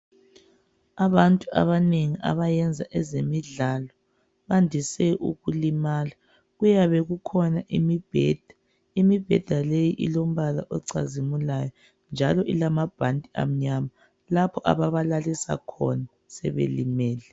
Abantu abanengi abayenza ezemidlalo bandise ukulimala kuyabe kukhona imibheda. Imibheda leyi ilombala ocazimulayo njalo ilamabhanti amnyama lapho ababalalisa khona sebelimele.